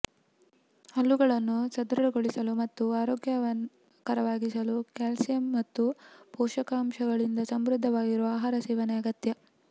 ಹಲ್ಲುಗಳನ್ನು ಸದೃಢಗೊಳಿಸಲು ಮತ್ತು ಅರೋಗ್ಯಕರವಾಗಿಸಲು ಕ್ಯಾಲ್ಸಿಯಂ ಮತ್ತು ಪೋಷಕಾಂಶಗಳಿಂದ ಸಮೃದ್ಧವಾಗಿರುವ ಆಹಾರ ಸೇವನೆ ಅಗತ್ಯ